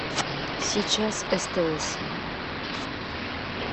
сейчас стс